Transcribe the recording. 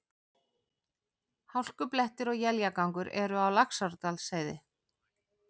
Hálkublettir og éljagangur eru á Laxárdalsheiði